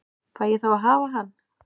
Fæ ég þá að hafa hann?